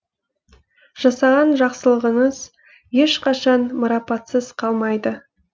жасаған жақсылығыңыз ешқашан марапатсыз қалмайды